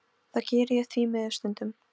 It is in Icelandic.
Það geri ég því miður stundum.